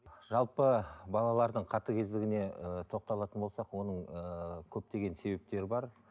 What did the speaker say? ы жалпы балалардың қатыгездігіне ыыы тоқталатын болсақ оның ыыы көптеген себептері бар